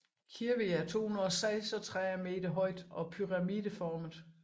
Kirvi er 236 meter højt og pyramideformet